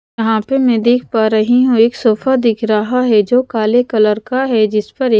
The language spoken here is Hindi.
यहाँ पे मैं देख पा रही हूं एक सोफा दिख रहा है जो काले कलर का है जिस पर एक--